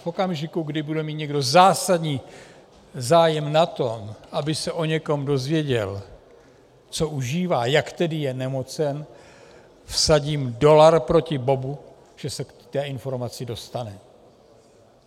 V okamžiku, kdy bude mít někdo zásadní zájem na tom, aby se o někom dozvěděl, co užívá, jak je tedy nemocen, vsadím dolar proti bobu, že se k té informaci dostane.